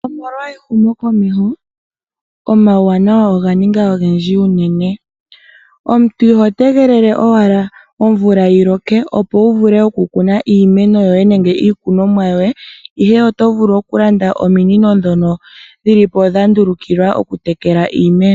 Omolwa ehumo komeho omawuwanawa onganinga ongendji unene, omuntu iho tengelele owala omvula yiloke opo wuvule okukuna iimeno yoye nenge iikunomwa yoye, ihe oto vulu okulanda omiinino dhono dhilipo dha ndulukilwa okutekela iimeno.